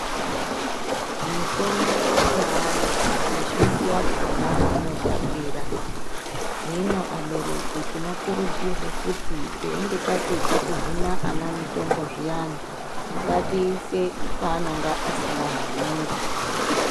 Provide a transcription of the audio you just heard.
Mitombo yeana mizhinji yakhona inotapira hino abereki tinokurudzirwa kuti teinge tapedza kuhina ana mitombo zviyani ngatiise paanonga asingahaniri.